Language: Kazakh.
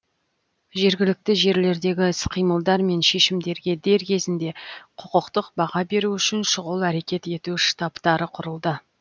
жергілікті жерлердегі іс қимылдар мен шешімдерге дер кезінде құқықтық баға беру үшін шұғыл әрекет ету штабтары құрылды